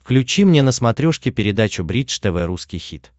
включи мне на смотрешке передачу бридж тв русский хит